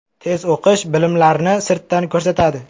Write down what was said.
Tez o‘qish bilimlarni sirtdan ko‘rsatadi.